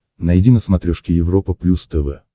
найди на смотрешке европа плюс тв